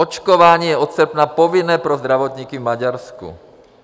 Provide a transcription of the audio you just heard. Očkování je od srpna povinné pro zdravotníky v Maďarsku.